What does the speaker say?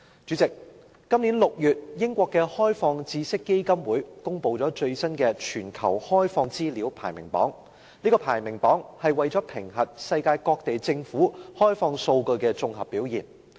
主席，今年6月，英國的開放知識基金會公布了最新的全球開放資料排名榜，評核世界各地政府開放數據的綜合表現。